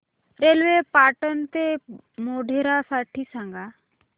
railway Patan ते मोढेरा साठी सांगा